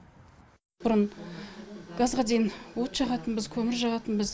бұрын газға дейін от жағатынбыз көмір жағатынбыз